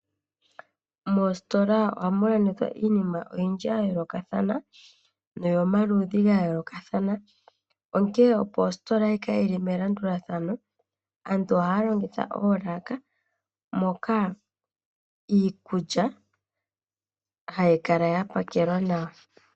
Momahala gomalandithilo ohamu adhike omaludhi giinima ga yoolokathana, onkene opo pu kale elanduladhano ohapu longithwa oolaka ndhoka hadhi kala dha pakelwa nawa.